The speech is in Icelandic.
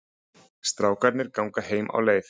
Strákarnir ganga heim á leið.